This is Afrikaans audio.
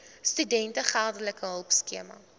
studente geldelike hulpskema